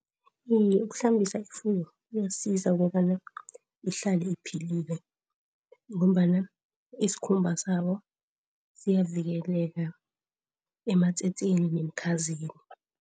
Okhunye ukuhlambisa ifuyo kuyasiza ukobana ihlale iphilile ngombana iskhumba sayo siyavikeleka ematsetseni nemikhazeni.